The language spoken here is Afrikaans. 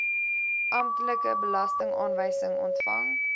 amptelike belastingaanwysing ontvang